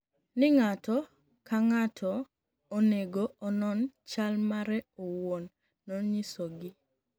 'nig'ato ka nig'ato oni ego ononi chal mare owuoni,''noniyisogi.